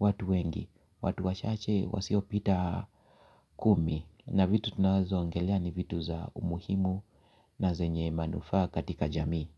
watu wengi, watu wa chache wasio pita kumi na vitu tunazoangelea ni vitu za umuhimu na zenye manufaa katika jamii.